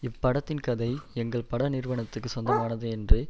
இப்படத்தின் கதை எங்கள் பட நிறுவனத்துக்கு சொந்தமானது என்று